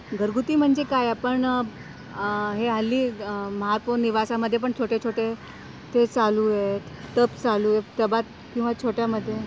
घरगुती म्हणजे काय आपण हे, हल्ली महापौर निवासामध्ये पण छोटे छोटे टब चालू आहे, टब चालू आहेत टबात किंवा छोट्या मध्ये